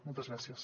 moltes gràcies